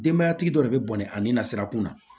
Denbayatigi dɔ de be bɔnɛ ani nasirakun na